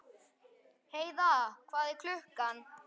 Heiðar, hvað er klukkan?